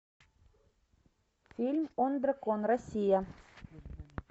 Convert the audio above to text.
фильм он дракон россия